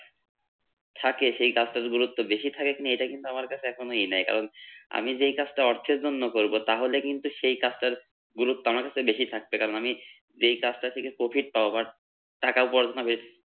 থাকে সেই কাজটার গুরুত্ব বেশি থাকে কিনা এটা কিন্তু আমার কাছে এখনো এ নাই কারণ আমি যেই কাজটা অর্থের জন্য করবো তাহলে কিন্তু সেই কাজটার গুরুত্ব আমার কাছে বেশি থাকছে কারণ আমি যেই কাজটা থেকে Profit পাবো But টাকা উপার্জন হবে